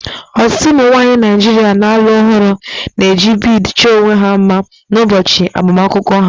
Ọtụtụ ụmụ nwanyị Naijiria na-alụ ọhụrụ na-eji bead chọọ onwe ha mma n'ụbọchị agbamakwụkwọ ha